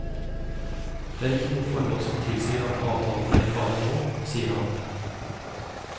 Det er ikke noen forhold som tilsier at avtalen er i fare nå, sier han.